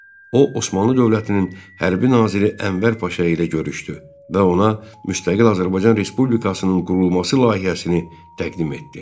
O, Osmanlı dövlətinin hərbi naziri Ənvər Paşa ilə görüşdü və ona müstəqil Azərbaycan Respublikasının qurulması layihəsini təqdim etdi.